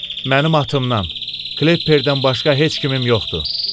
Mənim atımdan, Klepperdən başqa heç kimim yoxdur.